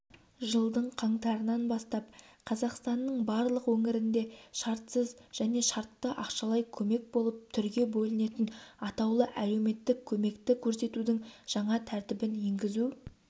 жылдың қаңтарынан бастап қазақстанның барлық өңірінде шартсыз және шартты ақшалай көмек болып түрге бөлінетін атаулы әлеуметтік көмекті көрсетудің жаңа тәртібін енгізу